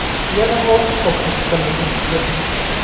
Yana olti qopcha chiqindi turibdi.